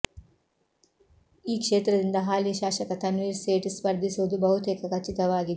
ಈ ಕ್ಷೇತ್ರದಿಂದ ಹಾಲಿ ಶಾಸಕ ತನ್ವೀರ್ ಸೇಠ್ ಸ್ಪರ್ಧಿಸುವುದು ಬಹುತೇಕ ಖಚಿತವಾಗಿದೆ